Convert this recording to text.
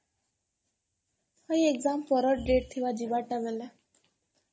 ନାଇଁ exa ପର date ଟା ଥିବା ଯିବାରଟା ବେଲେ?